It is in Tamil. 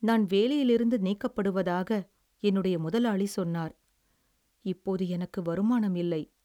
நான் வேலையிலிருந்து நீக்கப்படுவதாக என்னுடைய முதலாளி சொன்னார், இப்போது எனக்கு வருமானம் இல்லை.